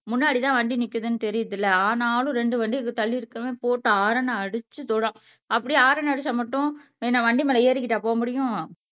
முன்னாடி தான் வண்டி நிக்குதுன்னு தெரியுதுல்ல ஆனாலும் ரெண்டு வண்டி தள்ளியிருக்கவன் போட்டு ஹாரன் அடிச்சு அப்படியே ஹாரன் அடிச்சா மட்டும் நான் என்ன வண்டி மேல ஏறிக்கிட்டா போக முடியும்